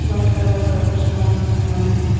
white colour का कुछ टंगा हुआ दिख रहा--